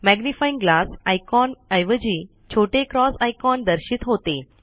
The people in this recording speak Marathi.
मॅग्निफाइंग ग्लास आयकॉन ऎवजी छोटे क्रॉस आयकॉन दर्शित होते